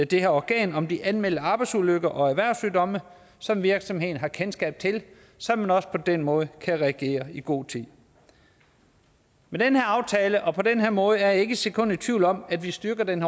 det her organ om de anmelder arbejdsulykker og erhvervssygdomme som virksomheden har kendskab til så man også på den måde kan reagere i god tid med den her aftale og på den her måde er jeg ikke et sekund i tvivl om at vi styrker den